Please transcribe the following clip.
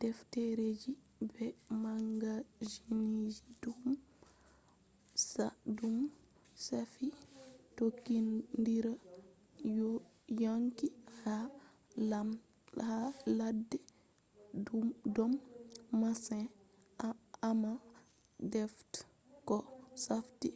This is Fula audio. defteji be magazinji dum shafi tokkindiral yonki ha ladde don masin amma defte ko shafi